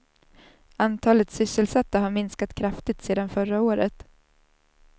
Antalet sysselsatta har minskat kraftigt sedan förra året.